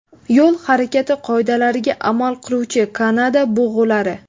Yo‘l harakati qoidalariga amal qiluvchi Kanada bug‘ulari.